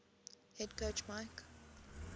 head coach mike